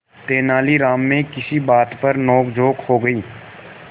तेनालीराम में किसी बात पर नोकझोंक हो गई